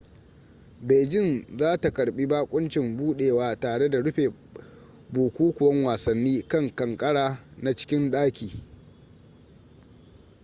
beijing za ta karbi bakoncin budewa tare da rufe bukukuwan wasanni kan kankara na cikin daki